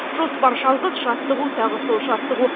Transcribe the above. жоспар жалғыз жаттығу тағы сол жаттығу